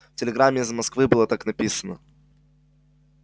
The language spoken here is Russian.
в телеграмме из москвы было так написано